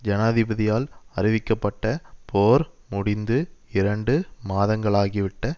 ஜனாதிபதியால் அறிவிக்கப்பட்ட போர் முடிந்து இரண்டு மாதங்களாகிவிட்ட